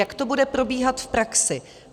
Jak to bude probíhat v praxi.